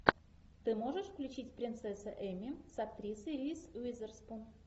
ты можешь включить принцесса эмми с актрисой риз уизерспун